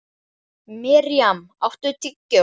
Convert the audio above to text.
Mirjam, áttu tyggjó?